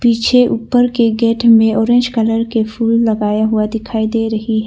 पीछे ऊपर के गेट में ऑरेंज कलर के फूल लगाया हुआ दिखाई दे रही है।